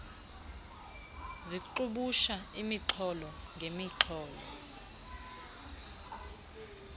zixubusha imixholo ngemixholo